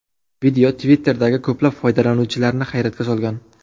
Video Twitter’dagi ko‘plab foydalanuvchilarni hayratga solgan.